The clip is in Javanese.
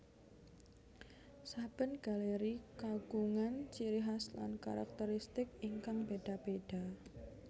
Saben galéri kagungan ciri khas lan karakteristik ingkang béda béda